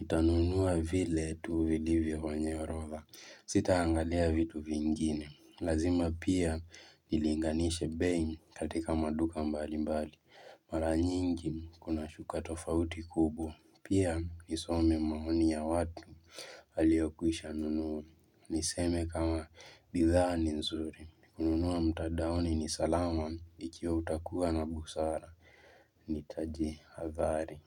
Nitanunua vile tu vilivyo kwenye orodha, sitaangalia vitu vingine. Lazima pia nilinganishe bei katika maduka mbalimbali. Mara nyingi kuna shuka tofauti kubwa. Pia nisome maoni ya watu aliyokwisha nunua. Niseme kama bidhaa nizuri. Kununua mtandaoni ni salama ikiwa utakuwa na busara nitajihadhari.